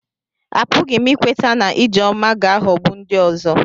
Apụghị m ikweta na Ijeoma ga-aghọgbu ndị ọzọ.